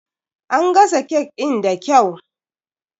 An gasa cake in da kyau.